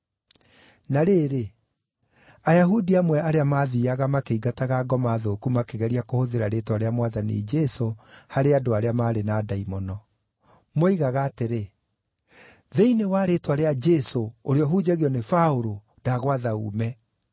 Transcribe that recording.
Na rĩrĩ, Ayahudi amwe arĩa maathiiaga makĩingataga ngoma thũku makĩgeria kũhũthĩra rĩĩtwa rĩa Mwathani Jesũ harĩ andũ arĩa maarĩ na ndaimono. Moigaga atĩrĩ, “Thĩinĩ wa rĩĩtwa rĩa Jesũ, ũrĩa ũhunjagio nĩ Paũlũ, ndagwatha uume.”